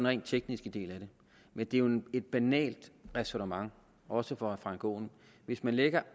rent tekniske del af det men det jo et banalt ræsonnement også for herre frank aaen at hvis man lægger